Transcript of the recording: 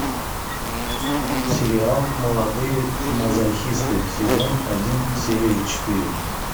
сериал молодые мазохисты сезон один серия четыре